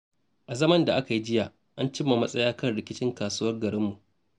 A zaman da aka yi jiya, an cimma matsaya kan rikicin kasuwar garinmu.